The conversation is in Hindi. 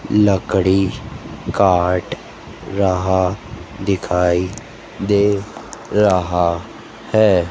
लकड़ी काट रहा दिखाई दे रहा है।